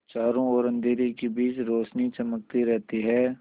चारों ओर अंधेरे के बीच रौशनी चमकती रहती है